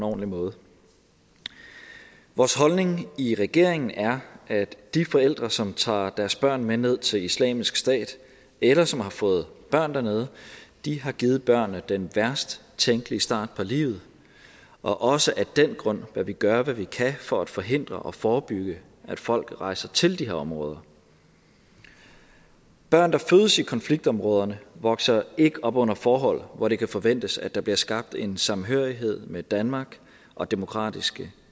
ordentlig måde vores holdning i regeringen er at de forældre som tager deres børn med ned til islamisk stat eller som har fået børn dernede har givet børnene den værst tænkelige start på livet og også af den grund bør vi gøre hvad vi kan for at forhindre og forebygge at folk rejser til de her områder børn der fødes i konfliktområderne vokser ikke op under forhold hvor det kan forventes at der bliver skabt en samhørighed med danmark og demokratiske